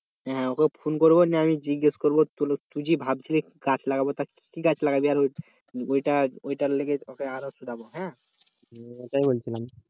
হ্যাঁ okay phone করবো জিজ্ঞেস করবো তুই যে ভাবছিলি গাছ লাগাব তার কি গাছ লাগাবি আর ওই ওইটা